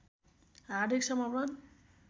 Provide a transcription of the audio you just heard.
हार्दिक समर्पण